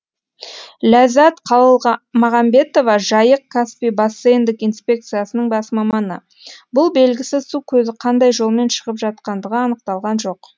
ләззат қалғамағанбетова жайық каспий бассейндік инспекциясының бас маманы бұл белгісіз су көзі қандай жолмен шығып жатқандығы анықталған жоқ